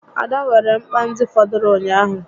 Ada weere mkpa ndị fọdụrụ ụnyaahụ